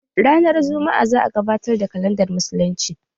Ranar jumma'a za a gabatar da kalandar musuluncin